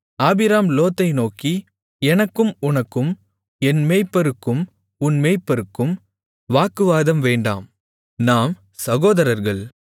ஆபிராம் லோத்தை நோக்கி எனக்கும் உனக்கும் என் மேய்ப்பருக்கும் உன் மேய்ப்பருக்கும் வாக்குவாதம் வேண்டாம் நாம் சகோதரர்கள்